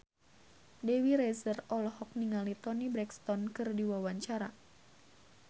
Dewi Rezer olohok ningali Toni Brexton keur diwawancara